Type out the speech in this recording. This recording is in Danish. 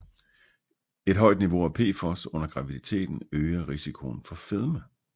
Et højt niveau af PFOS under graviditeten øger risikoen for fedme